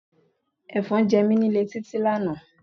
Efon jẹ mí nílé Títí lánàá.